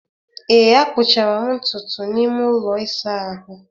ee, akpụchara m ntutu n'ime ụlọ ịsa ahụ